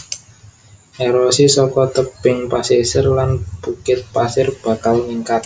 Erosi saka tebing pasisir lan bukit pasir bakal ningkat